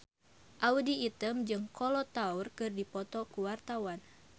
Audy Item jeung Kolo Taure keur dipoto ku wartawan